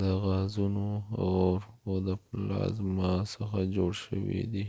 د غازونو اور او د پلازما څخه جوړ شوي دي